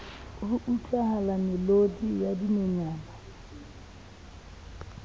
ho utlwahala melodi ya dinonyana